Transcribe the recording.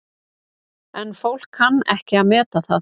En fólk kann ekki að meta það.